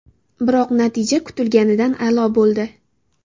Biroq natija kutilganidan a’lo bo‘ldi.